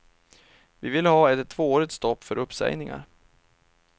Vi vill ha ett tvåårigt stopp för uppsägningar.